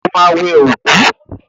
Ó ma wẹ òkú!